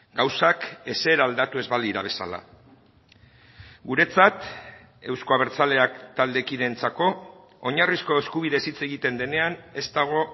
gauzak ezer aldatu ez balira bezala guretzat euzko abertzaleak taldekideentzako oinarrizko eskubideez hitz egiten denean ez dago